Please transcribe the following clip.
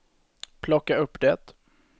plocka upp det